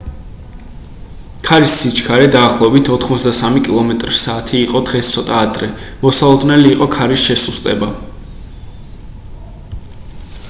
ქარის სიჩქარე დაახლოებით 83 კმ/სთ იყო დღეს ცოტა ადრე მოსალოდნელი იყო ქარის შესუსტება